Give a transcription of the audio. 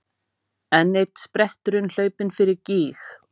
Enn einn spretturinn hlaupinn fyrir gíg.